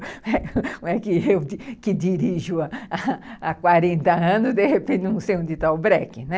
Como é que eu, que dirijo há quarenta anos, de repente não sei onde está o breque, né?